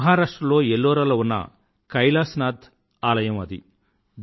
మహారాష్ట్ర లో ఎల్లోరాలో ఉన్న కైలాశ్ నాథ్ ఆలయం అది